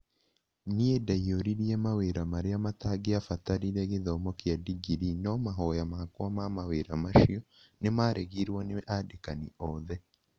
Nĩ ndaiyũririe mawĩra marĩa matangĩabatarire gĩthomo kia ndingirii no mahoya makwa ma mawĩra macio ni maregirwo nĩ andĩkani othe.